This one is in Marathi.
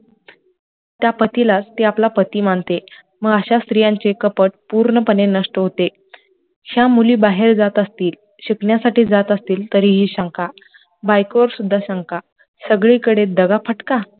त्या पतीलाच ते आपला पती मानते मग अश्या स्त्रियांचे कपट पूर्णपणे नष्ट होते, ज्या मुली बाहेर जात असतिल, शिकण्या साठी जात असतिल तरिही शंका बायकोवर सुद्धा शंका सगली कडे दघा फटका